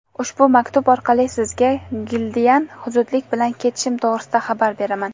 Ushbu maktub orqali sizga Gildiyadan zudlik bilan ketishim to‘g‘risida xabar beraman.